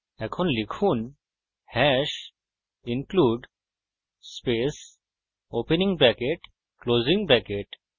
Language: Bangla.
এখন লিখুন hash #include space opening bracket closing bracket